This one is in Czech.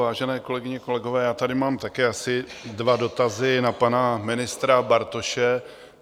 Vážené kolegyně, kolegové, já tady mám také asi dva dotazy na pana ministra Bartoše.